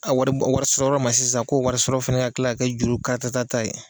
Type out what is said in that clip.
A wari warisɔrɔyɔrɔ ma sisan ko warisɔrɔ fana ka tila ka kɛ juru karatata ye